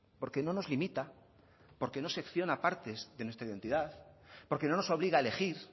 porque no nos limita porque no secciona partes de nuestra identidad porque no nos obliga a elegir